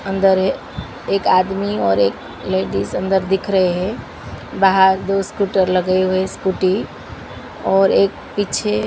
अंदर ये एक आदमी और एक लेडिज अंदर दिख रहे हैं बाहर दो स्कूटर लगे हुए स्कूटी और एक पीछे--